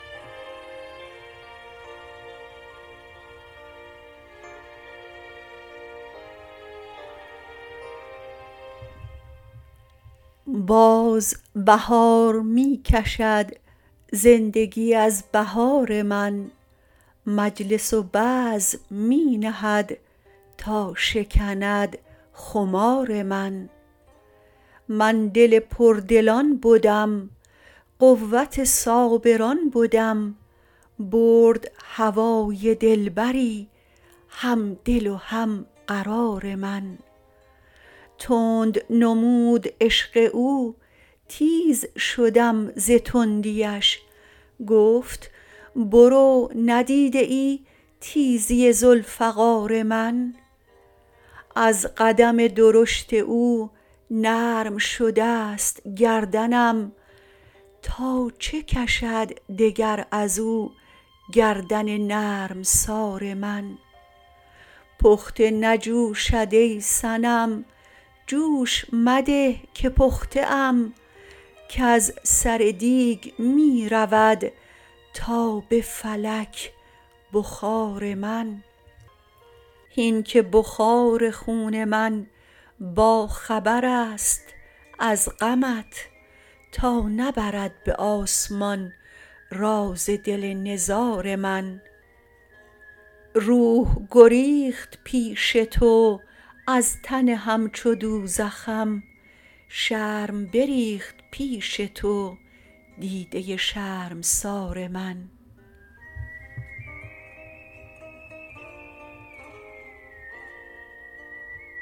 باز بهار می کشد زندگی از بهار من مجلس و بزم می نهد تا شکند خمار من من دل پردلان بدم قوت صابران بدم برد هوای دلبری هم دل و هم قرار من تند نمود عشق او تیز شدم ز تندیش گفت برو ندیده ای تیزی ذوالفقار من از قدم درشت او نرم شده ست گردنم تا چه کشد دگر از او گردن نرمسار من پخته نجوشد ای صنم جوش مده که پخته ام کز سر دیگ می رود تا به فلک بخار من هین که بخار خون من باخبر است از غمت تا نبرد به آسمان راز دل نزار من روح گریخت پیش تو از تن همچو دوزخم شرم بریخت پیش تو دیده شرمسار من